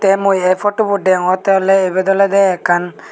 tey mui ei potubot deongottey oley ibet olodey ekkan.